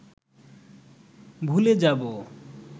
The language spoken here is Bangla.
ভুলে যাব